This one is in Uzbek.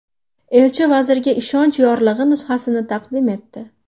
Elchi vazirga ishonch yorlig‘i nusxasini taqdim etdi.